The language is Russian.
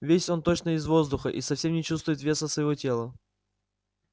весь он точно из воздуха и совсем не чувствует веса своего тела